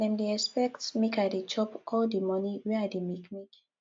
dem dey expect make i dey chop all di moni wey i dey make make